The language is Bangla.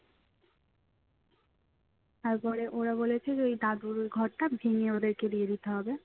তারপরে ওরা বলেছে যে ওই দাদুর ঘরটা ভেঙ্গে ওদেরকে দিয়ে দিতে হবে